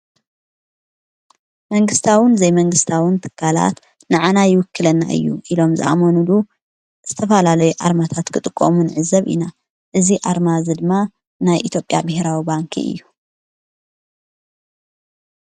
መንግሥታውን ዘይመንግሥታውን ትካላት ንኣና ይውክለና እዩ ኢሎም ዝኣመኑሉ ዝተፍላለይ ኣርማታት ክጥቆሙን ሕዘብ ኢና እዝ ኣርማ ዝድማ ናይ ኢትጴያ ብሕራዊ ባንኪ እዩ።